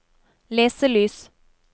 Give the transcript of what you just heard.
leselys